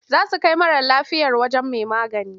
Za su kai mara lafiyar wajen mai magani.